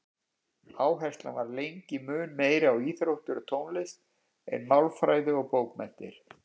Áherslan var lengi mun meiri á íþróttir og tónlist en málfræði og bókmenntir.